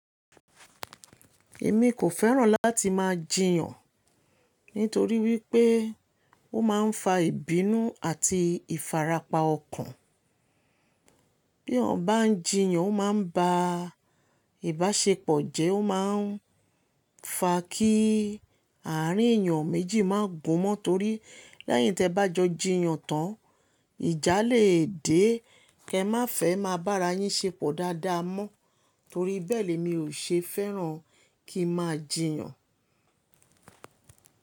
Èmi kò fẹ́ràn láti máa jiyàn nítorí wípé ó máa ń fa ìbínú àti ìfarapa ọkàn. Bí ọ̀ bá ń jiyàn, ó máa ń ba ìbáṣepọ̀ jẹ́, ó máa ń fa kí àárín èyàn méjì má gùn mọ́ torí leyin tí ẹ bá jọ jiyàn tán, ìjà lè dé kí ẹ má fẹ́ má bá ara yín ṣepọ̀ dáadáa mọ́ torí bẹ́ẹ̀ ni mi ò ṣe fẹ́ràn kí n máa jiyàn.